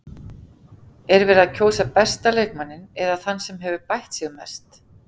Er verið að kjósa besta leikmanninn eða þann sem hefur bætt sig mest?